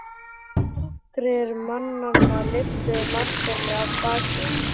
Nokkrir mannanna lyftu Marteini af baki.